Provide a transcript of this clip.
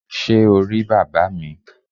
Sé o rí bàbá mi?